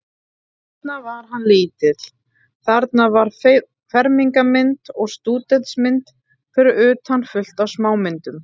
Þarna var hann lítill, þarna var fermingarmynd og stúdentsmynd, fyrir utan fullt af smámyndum.